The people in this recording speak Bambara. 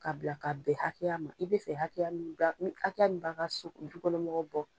K'a bila k'a bɛn hakɛya ma i be fɛ hakɛya min ba hakɛya min' ka so dukɔnɔmɔgɔw bɔ